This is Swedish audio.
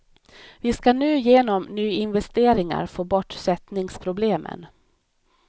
Vi skall nu genom nyinvesteringar få bort sättningsproblemen.